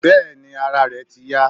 Bẹ́ẹ̀ni ara rẹ̀ ti yá.